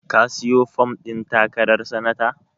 Ka sayi fom ɗin takarar sanata?